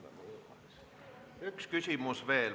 Üks küsimus veel.